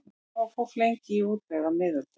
Hvað var fólk lengi í útlegð á miðöldum?